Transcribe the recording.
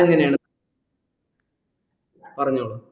എങ്ങനെയാണ് പറഞ്ഞോളൂ